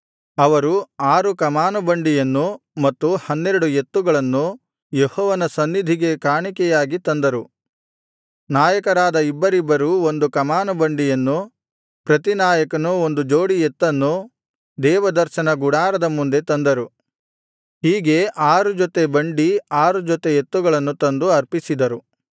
ಅವರು ಆರು ಕಮಾನು ಬಂಡಿಯನ್ನೂ ಮತ್ತು ಹನ್ನೆರಡು ಎತ್ತುಗಳನ್ನೂ ಯೆಹೋವನ ಸನ್ನಿಧಿಗೆ ಕಾಣಿಕೆಯಾಗಿ ತಂದರು ನಾಯಕರಾದ ಇಬ್ಬರಿಬ್ಬರೂ ಒಂದು ಕಮಾನು ಬಂಡಿಯನ್ನೂ ಪ್ರತಿ ನಾಯಕನು ಒಂದು ಜೋಡಿ ಎತ್ತನ್ನೂ ದೇವದರ್ಶನ ಗುಡಾರದ ಮುಂದೆ ತಂದರು ಹೀಗೆ ಆರು ಜೊತೆ ಬಂಡಿ ಆರು ಜೊತೆ ಎತ್ತುಗಳನ್ನು ತಂದು ಅರ್ಪಿಸಿದರು